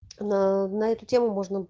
на на эту тему можно